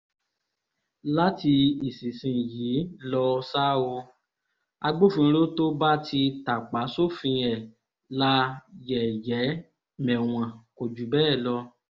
láti ìsinsìnyìí lọ ṣáá o agbófinró tó bá ti tàpá sófin ẹ̀ la yẹ̀yẹ́ mẹ̀wọ̀n kò jù bẹ́ẹ̀ lọ